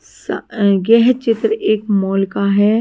सा आ यह चित्र एक मोल का है।